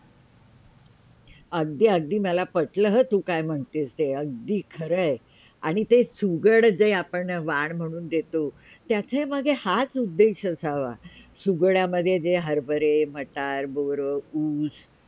अगदी – अगदी पटलं हं मला तू काय म्हणतेस ते अगदी खरंय आणि ते चुगड जे आपण वान म्हणून देतो त्याच्यामध्ये हाच उदयेश असावा सुगड्यामध्ये जे हर -भरे मटार, बोरं, ऊस.